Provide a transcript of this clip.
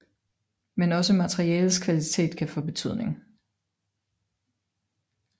Men også materialets kvalitet kan få betydning